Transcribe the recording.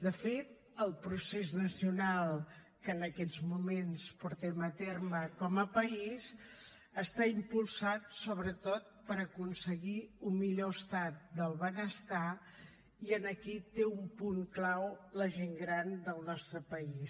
de fet el procés nacional que en aquests moments portem a terme com a país està impulsat sobretot per aconseguir un millor estat del benestar i aquí té un punt clau la gent gran del nostre país